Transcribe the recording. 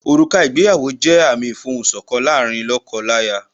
Òrùka ìgbéyàwó jẹ́ àmìn ìfohùn sọ̀kan láàárín lóko láya